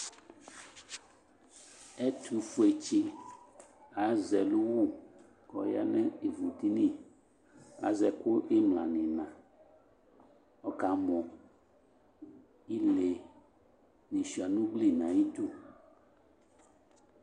Ɛtʋfuetsi azɛ ɛlʋwu kɔya nʋ ivudini Azɛ ɛkʋ imla ni ina kɔkamɔ Ile di sua nu ugli nayi du